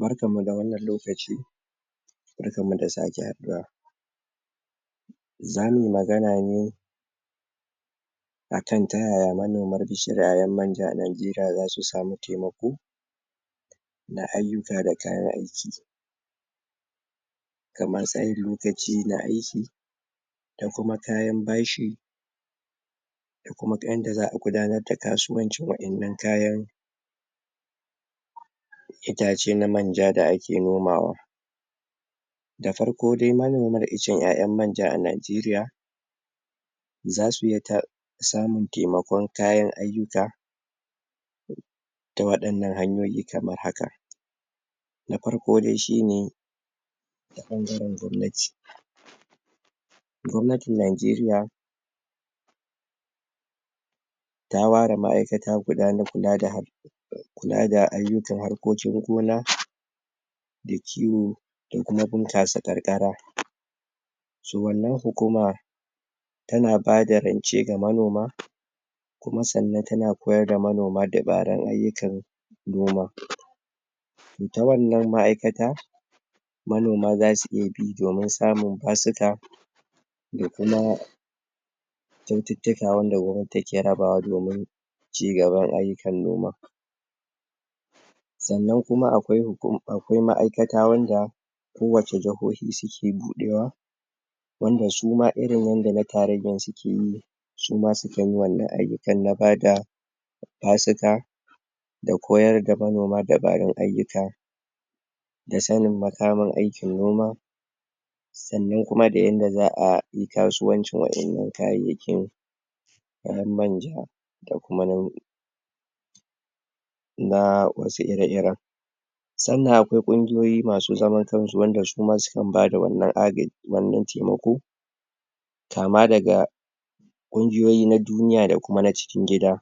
Barkanmu da wannan lokaci Barkanmu da sake haɗuwa za muyi magana ne akan ta yaya manoma bishirayen manja a Najeriya zasu samu taimako da ayyuka da kayan aiki don kuma kayan bashi kuma kayan da za a gudanar da kasuwancin wa'innan kayan itace na manja da ake nomawa Da farko dai manomar icen ƴaƴan manja a Nigeria za su ya ta samun taimakon kayan ayyuka ta waɗannan hanyoyi kamar haka Na farko dai shine ɓangaren gwamnati gwamnatin Najeriya ta ware ma'aikata guda na kula da kula da ayyukan harkokin gona da kiwo in bunkasa karkara um wannan hukuma tana bada rance ga manoma kuma sannan tana koyar da manoma dabaran ayyukan noma ta wannan ma'aikata manoma zasu iya bi domin samun basuka da kuma kyaututtuka wanda gwamnati take rabawa domin cigaban ayyukan noma sannan kuma akwai akwai ma'aikata wanda ko wace jahohi suke buɗewa wanda su ma irin yanda na tarayyan suke yi su ma sukan yi wannan ayyukan na ba da basuka da koyar da manoma dabarun ayyuka da sanin makaman aikin noma saannan kuma da yanda za ayi kasuwancin waƴannan kayayyakin ƴaƴan manja da kuma na na wasu ire-iren Sannan akwai ƙungiyoyi masu zaman kansu wanda sukan bada wannan wannan taimako kama daga ƙungiyoyi na duniya da kuma na cikin gida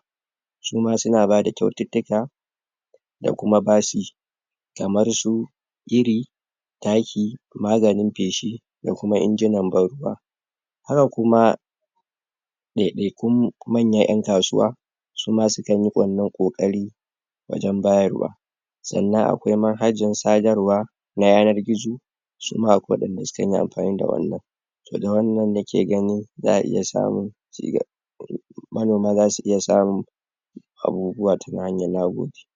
su ma suna bada kyaututtuka da kuma basi kamar su iri, taki, maganin peshi da kuma injunan ban ruwa Haka kuma ɗaiɗaikun manyan ƴan kasuwa su ma sukan yi wannan ƙoƙari wajen bayarwa Sannan akwai manhajan sadarwa na yanar gizo su ma akwai waɗanda sukan yi amfani da wannan To da wannan nake gani za a iya samu manoma zasu iya samu abubuwa